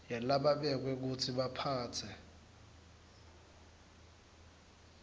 yalababekwe kutsi baphatse